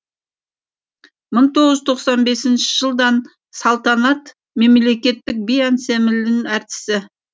мың тоғыз жүз тоқсан бесінші жылдан салтанат мемлекеттік би ансамблінің әртісі